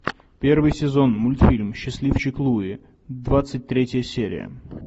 первый сезон мультфильм счастливчик луи двадцать третья серия